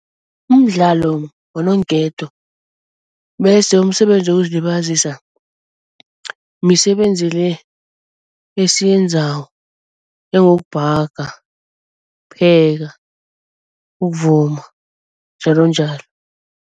Umdlalo bononketo bese umsebenzi wokuzilibazisa misebenzi le esiyenzako njengokubhaga, ukupheka, ukuvuma njalonjalo.